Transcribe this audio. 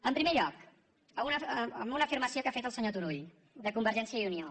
en primer lloc d’una afirmació que ha fet el senyor turull de convergència i unió